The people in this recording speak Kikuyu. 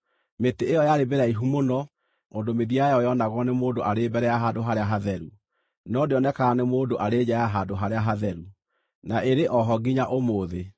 Mĩtĩ ĩyo yarĩ mĩraihu mũno, ũndũ mĩthia yayo yoonagwo nĩ mũndũ arĩ mbere ya Handũ-harĩa-Hatheru, no ndĩonekaga nĩ mũndũ arĩ nja ya Handũ-harĩa-Hatheru; na ĩrĩ o ho nginya ũmũthĩ.